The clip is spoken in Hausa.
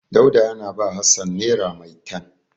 Dauda yana ba Hassan nera maitan.